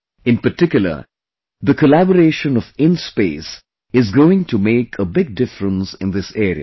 In particular, the collaboration of INSPACe is going to make a big difference in this area